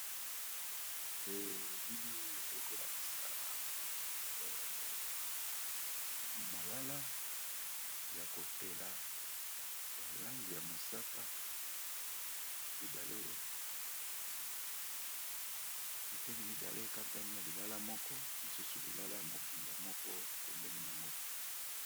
Elili oyo ekolakisa malala ya kotela ya lange ya mosaka biteni mibale katani ya lilala moko mosusu lilala ya mobimba moko pembeni nango.